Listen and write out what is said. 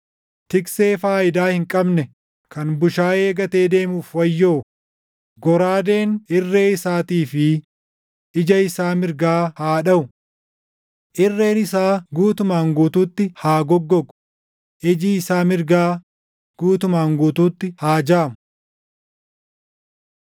“Tiksee faayidaa hin qabne kan bushaayee gatee deemuuf wayyoo! Goraadeen irree isaatii fi ija isaa mirgaa haa dhaʼu! Irreen isaa guutumaan guutuutti haa goggogu; iji isaa mirgaa guutumaan guutuutti haa jaamu!”